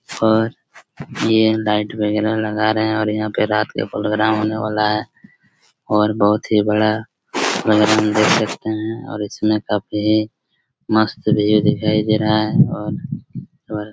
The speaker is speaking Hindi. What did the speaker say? और ये लाइट वगेरा लगा रहे हैं और यहाँ पे रात के प्रोग्राम होने वाला हैं और बहोत ही बड़ा प्रोग्राम देख सकते हैं और इसमें काफी मस्त व्यू दिखाई दे रहा हैं और और